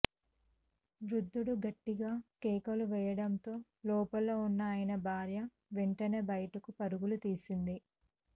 వృద్ధుడు గట్టిగా కేకలు వేయడంతో లోపల ఉన్న ఆయన భార్య వెంటనే బయటకు పరుగులు తీసింది